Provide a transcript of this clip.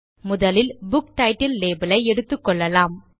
முதலில் book title label ஐ எடுத்துக்கொள்ளலாம்